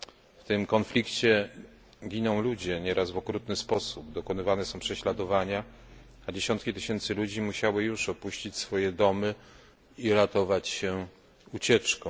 W tym konflikcie giną ludzie, nieraz w okrutny sposób, dokonywane są prześladowania, a dziesiątki tysięcy ludzi musiało już opuścić swoje domy i ratować się ucieczką.